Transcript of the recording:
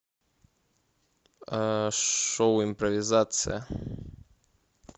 шоу импровизация